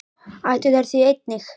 Ættu þeir því einnig að bera tapið.